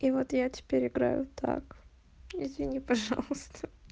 и вот я теперь играю так извини пожалуйста